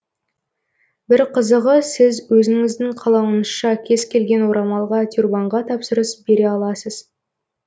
бір қызығы сіз өзіңіздің қалауыңызша кез келген орамалға тюрбанға тапсырыс бере аласыз